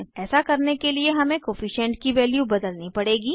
ऐसा करने के लिए हमें कोअफिशन्ट की वैल्यू बदलनी पड़ेगी